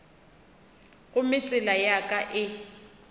gomme tsela ya ka e